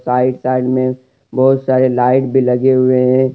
Right side में बहुत सारे लाइट भी लगे हुए हैं।